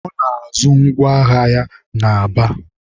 Ọ na-azụ ngwa ahịa na Aba.